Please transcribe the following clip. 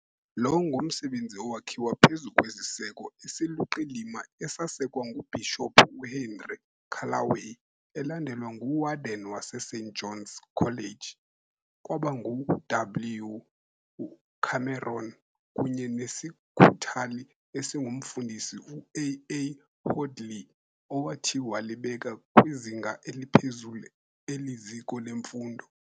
Lo ngumsebenzi owakhiwa phezu kwesiseko esiluqilima esasekwa nguBhishophu uHenry Callaway, elandelwa nguWarden waseSt Johns College, kwaba ngu "W. Cameron, kunye nesikhuthali esingumfundisi uAA Hoadley, owathi walibeka kwizinga eliphezulu eli ziko lemfundo.